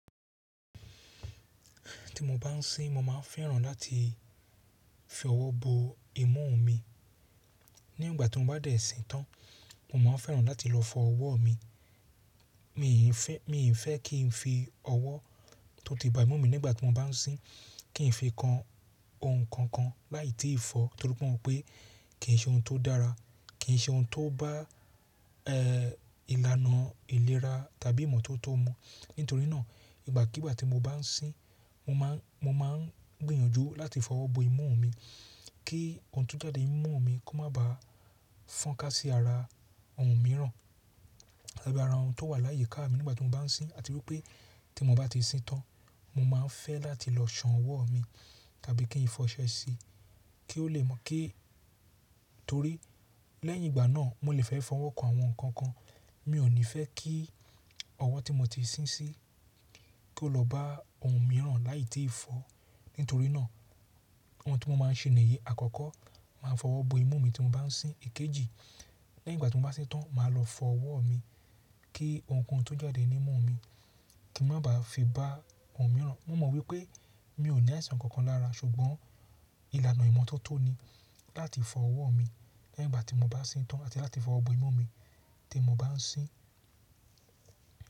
Ti mo bá ń sín mo máa ń fẹ́ràn láti fi ọwọ́ bo imú mi. Ni ìgbà tí mo bá dẹ̀ sí tàn mo máa ń fẹ́ràn láti lọ fọ ọwọ́ mi. Mì ì fẹ́, mì ì fẹ́ kí n fi ọwọ́ tó ti ba imú mi nígbà tí mo bá ń sín, kí n fi kan ohun kan kan láì tí ì fọ torí pé mọ̀ pé kì í ṣe ohun tó dára, kì í ṣe ohun tó bá, ìlànà ìlera tàbí ìmọ́tótó mu. Nítorí náà ìgbàkígbà tí mo bá ń sín mo má ń, mo má ń gbìyànjú láti fọ ọwọ́ bo imú mi kí ohun tó jáde ní imú mi kó má ba fọ́n ká sí ara ohun mìíràn tàbí ara ohun tó wà láyé ká mi nígbà tí mo bá ń sín. Àti wípé tí mo bá ti sín tàn mo máa ń fẹ́ láti lọ ṣàn ọwọ́ mi tàbí kí n fi ọṣẹ sí i kí ó lè mọ, kí, torí lẹ́yìn ìgbà náà mo lè fẹ́ fi ọwọ́ kan àwọn nǹkan kan. Mi ò ní fẹ́ kí ọwọ́ tí mo ti sin sí i kó lọ bá ohun mìíràn láì tí ì fọ. Nítorí náà ohun tí mo máa ń ṣe nìyí, àkọ́kọ́ màá fọ ọwọ́ bo imú mi tí mo bá ń sín. Èkejì lẹ́yìn ìgbà tí mo bá sín tàn màá lọ fọ ọwọ́ mi kí ohunkóhun tó jáde ní imú mi kí n má ba fi bá ohun mìíràn. Mo mọ̀ wípé mi ò ní àìsàn kankan lára ṣùgbọ́n ìlànà ìmọ́tótó ni láti fọ ọwọ́ mi lẹ́yìn ìgbà tí mo bá sín tàn àti láti fọ ọwọ́ bo imú mi tí mo bá ń sín.